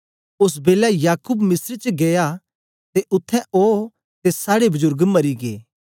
ओस बेलै याकूब मिस्र च गीया ते उत्थें ओ ते साड़े बजुर्ग मरी गै